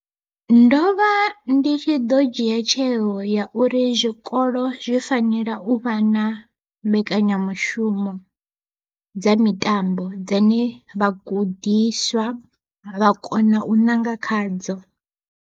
Ndovha ndi tshi ḓo dzhia tsheo ya uri zwikolo zwi fanela u vha na mbekanyamushumo dza mitambo, dzane vhagudiswa vha kona u ṋanga khadzo.